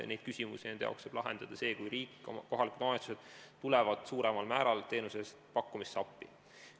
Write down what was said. Nende jaoks saab probleemi lahendada see, kui riik ja kohalikud omavalitsused tulevad suuremal määral teenuse pakkumisel appi.